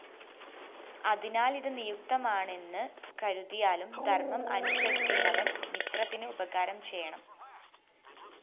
അതിനാലിത് നിയുക്തമാണെന്ന് കരുതിയാലും ധര്‍മ്മം അനുസരിക്കുന്നവന്‍ മിത്രത്തിന് ഉപകാരം ചെയ്യണം